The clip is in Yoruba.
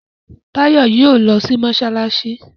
Tayo yíò lọ sì masalasi.